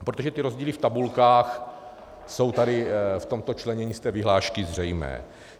Protože ty rozdíly v tabulkách jsou tady v tomto členění z té vyhlášky zřejmé.